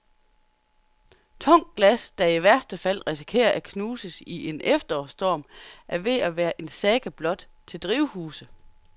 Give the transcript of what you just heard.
Tungt glas, der i værste fald risikerer at knuses i en efterårsstorm, er ved at være en saga blot til drivhuse.